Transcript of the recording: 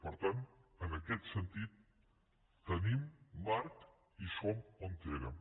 per tant en aquest sentit tenim marc i som on érem